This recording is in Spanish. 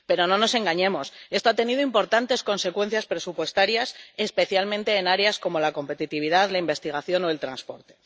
Pero no nos engañemos esto ha tenido importantes consecuencias presupuestarias, especialmente en áreas como la competitividad, la investigación o el transporte.